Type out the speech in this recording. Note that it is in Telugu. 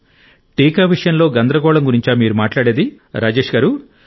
టీకా విషయంలో గందరగోళం గురించా మీరు మాట్లాడేది రాజేశ్ గారూ